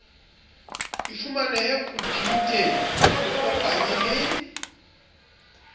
di fumanehe khomputeng ikopanye le